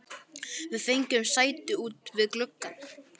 Við fengum sæti út við glugga.